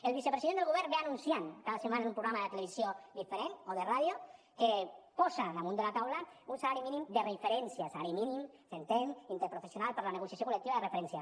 el vicepresident del govern ve anunciant cada setmana en un programa de televisió diferent o de ràdio que posa damunt de la taula un salari mínim de referència salari mínim s’entén interprofessional per la negociació col·lectiva de referència